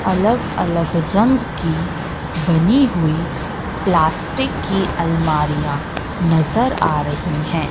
अलग अलग रंग की बनी हुई प्लास्टिक की अलमारियां नजर आ रही हैं।